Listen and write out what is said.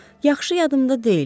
Yaxşı yaddımda deyil.